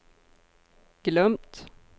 glömt